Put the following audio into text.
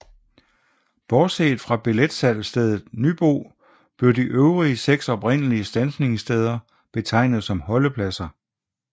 Bortset fra billetsalgsstedet Nybo blev de øvrige 6 oprindelige standsningssteder betegnet som holdepladser